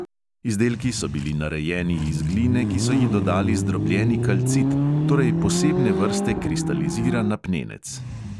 Izdelki so bili narejeni iz gline, ki so ji dodali zdrobljeni kalcit, torej posebne vrste kristaliziran apnenec.